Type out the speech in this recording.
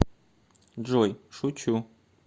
джой шучу